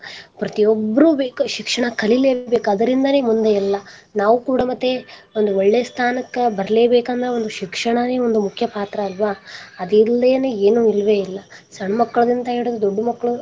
ಪ್ರತಿಯೊಬ್ಬರು ಬೇಕ ಶಿಕ್ಷಣ ಕಲಿಲೆ ಬೇಕ ಅದರಿಂದನೇ ಮುಂದೆಲ್ಲಾ ನಾವ ಕೂಡ ಮತ್ತೆ ಒಂದ ಒಳ್ಳೆ ಸ್ಥಾನಕ್ಕ ಬರಲೇ ಬೇಕಂದ್ರ ಒಂದು ಶಿಕ್ಷಣನೇ ಒಂದು ಮುಖ್ಯ ಪಾತ್ರ ಅಲ್ವ ಅದಿಲ್ಲದೇನೇ ಏನು ಇಲ್ವೇ ಇಲ್ಲ ಸಣ್ಣ ಮಕ್ಕಳಿಂತ ಹಿಡದು ದೊಡ್ಡವ ಮಕ್ಕಳ.